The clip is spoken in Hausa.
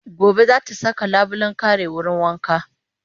Gobe za ta saka labulen kare wurin wanka